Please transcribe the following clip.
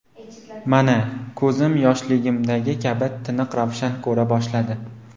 Mana, ko‘zim yoshligimdagi kabi tiniq-ravshan ko‘ra boshladi”.